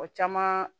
O caman